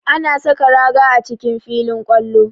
Ana saka raga a cikin filin kwallo